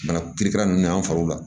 Bana kiri kara ninnu na an farw la